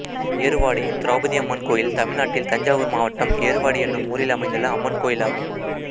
ஏறுவாடி திரௌபதியம்மன் கோயில் தமிழ்நாட்டில் தஞ்சாவூர் மாவட்டம் ஏறுவாடி என்னும் ஊரில் அமைந்துள்ள அம்மன் கோயிலாகும்